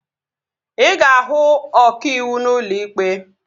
Ị ga-ahụ ọkàiwu n'ụlọ ikpe